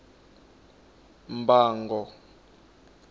mbango